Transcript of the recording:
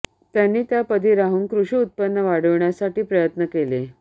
त्यांनी त्या पदी राहून कृषी उत्पन्न वाढवण्यासाठी प्रयत्न केले